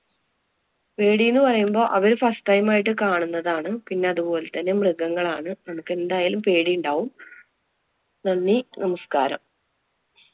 പേടീന്ന് പറയുമ്പോ അവര് first time ആയിട്ട് കാണുന്നതാണ്. പിന്നെ അതുപോലെ തന്നെ മൃഗങ്ങളാണ്. നമുക്ക് എന്തായാലും പേടിയുണ്ടാവും. നന്ദി, നമസ്കാരം.